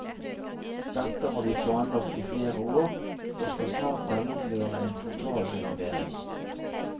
Dette har vi planlagt i flere år, og skal snart gjennomføre en totalrenovering.